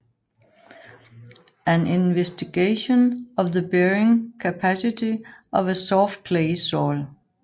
An investigation of the bearing capacity of a soft clay soil